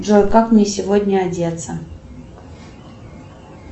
джой как мне сегодня одеться